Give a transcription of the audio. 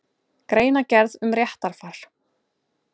Greinargerð um réttarfar.